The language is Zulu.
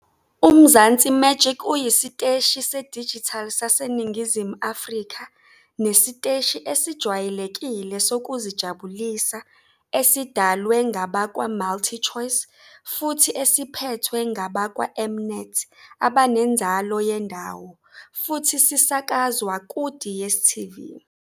UMzansi Magic uyisiteshi sedijithali saseNingizimu Afrika nesiteshi esijwayelekile sokuzijabulisa esidalwe ngabakwaMultichoice futhi esiphethwe ngabakwaM -Net abanenzalo yendawo, futhi sisakazwa kuDStv.